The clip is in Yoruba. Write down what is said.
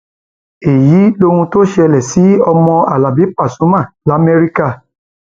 èyí lohun tó ṣẹlẹ sí ọmọ alábi pasuma lamẹríkà